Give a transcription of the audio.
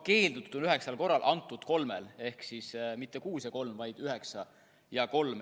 Keeldutud on üheksal korral ja antud kolmel korral ehk mitte kuus ja kolm, vaid üheksa ja kolm.